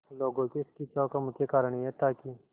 लोगों के इस खिंचाव का मुख्य कारण यह था कि